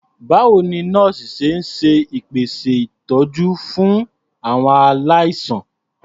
Báwo ni àwọn nọ́ọ̀sì ṣe ń ṣèpèsè ìtọ́jú aláàánú fún àwọn aláìsàn?